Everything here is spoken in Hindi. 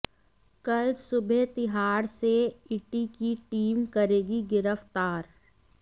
कल सुबह तिहाड़ से ईडी की टीम करेगी गिरफ्तार